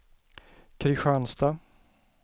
Kristianstad